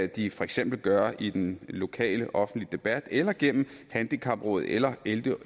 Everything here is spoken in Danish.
de for eksempel gøre i den lokale offentlige debat eller gennem handicapråd eller